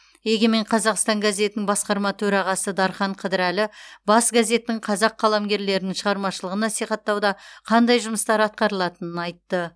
егемен қазақстан газетінің басқарма төрағасы дархан қыдырәлі бас газеттің қазақ қаламгерлерінің шығармашылығын насихаттауда қандай жұмыстар атқарылатынын айтты